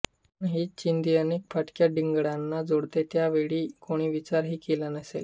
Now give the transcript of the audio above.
पण हीच चिंधी अनेक फाटक्या ठिगळांना जोडते याचा त्यावेळी कोणी विचार ही केला नसेल